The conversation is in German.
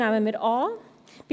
Nummer 2 nehmen wir an.